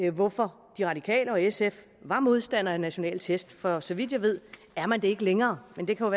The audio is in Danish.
hvorfor de radikale og sf var modstandere af nationale test for så vidt jeg ved er man det ikke længere men det kan jo